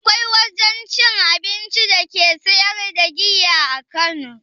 Akwai wajen cin abincin da ke siyar da giya a kano?